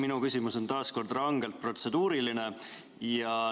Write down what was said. Minu küsimus on taas rangelt protseduuriline.